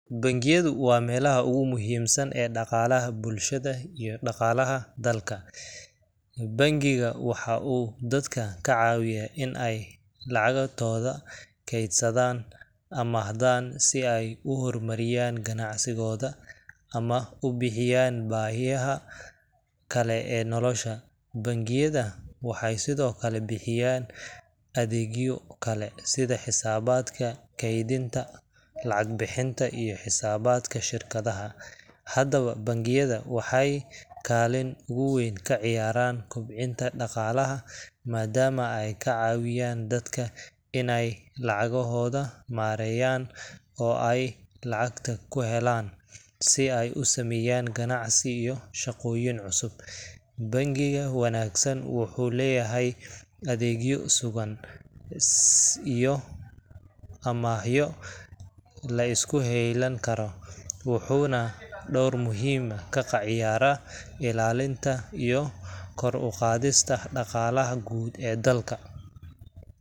Bangiyadu waa meelaha ugu muhiimsan ee dhaqaalaha bulshada iyo dhaqaalaha dalka. Bangiga waxa uu dadka ka caawiyaa in ay lacagtooda kaydsadaan, amaahdana si ay u horumariyaan ganacsigooda ama u buuxiyaan baahiyaha kale ee nolosha. Bangiyada waxay sidoo kale bixiyaan adeegyo kale sida xisaabaadka kaydinta, lacag-bixinta, iyo xisaabaadka shirkadaha. Haddaba, bangiyada waxay kaalin ugu weyn ka ciyaaraan kobcinta dhaqaalaha, maadaama ay ka caawiyaan dadka inay lacagahooda maareeyaan oo ay lacagta ku helaan si ay u sameeyaan ganacsi iyo shaqooyin cusub. Bangiga wanaagsan wuxuu leeyahay adeegyo sugan iyo amaahyo la isku heylan karo, wuxuuna door muhiim ah ka ciyaaraa ilaalinta iyo kor u qaadista dhaqaalaha guud ee dalka.